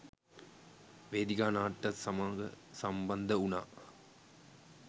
වේදිකා නාට්‍යය සමග සම්බන්ධ වුණා